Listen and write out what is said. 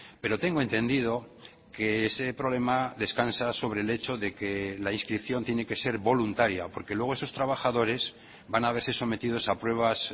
pero tengo entendido que ese problema descansa sobre el hecho de que la inscripción tiene que ser voluntaria porque luego esos trabajadores van a verse sometidos a pruebas